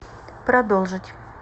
продолжить